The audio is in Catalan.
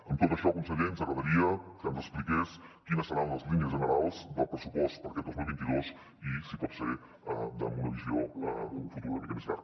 amb tot això conseller ens agradaria que ens expliqués quines seran les línies generals del pressupost per a aquest dos mil vint dos i si pot ser amb una visió a un futur una mica més llarg